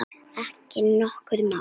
Ekki nokkru máli.